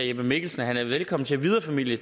jeppe mikkelsen at han er velkommen til at videreformidle